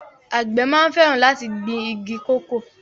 Àgbẹ̀ máa ń fẹràn láti gbìn igi kòkó